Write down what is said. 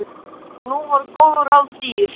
Og nú voru góð ráð dýr.